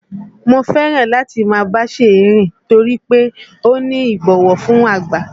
Mo fẹ́ràn láti máa bá Ṣèyí rìn nítorí pé ó ní ìbọ̀wọ̀ fún àgbà